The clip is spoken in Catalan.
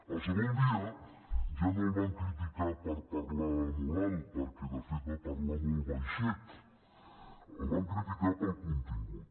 el segon dia ja no el van criticar per parlar molt alt perquè de fet va parlar molt baixet el van criticar pel contingut